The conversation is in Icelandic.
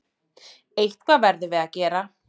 Eitthvað verðum við að gera.